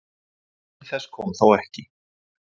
Til þess kom þó ekki.